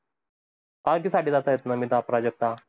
Party साठी जात आहेत, नमिता प्राजक्ता.